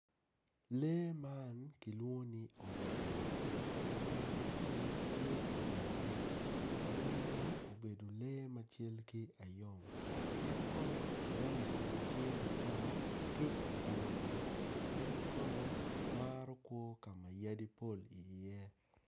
lee man kilwongo ni ongera ongera man tye ijang yat ongera obedo lee macal ki anyom en kono rangi kome tye matar ki oburu en kono maro kwo ka ma yadi pol iye